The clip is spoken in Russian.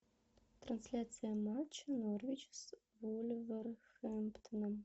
трансляция матча норвич с вулверхэмптоном